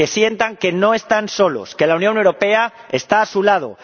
Que sientan que no están solos. Que la Unión Europea está a su lado.